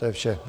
To je vše.